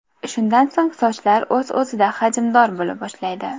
Shundan so‘ng sochlar o‘z-o‘zida hajmdor bo‘la boshlaydi.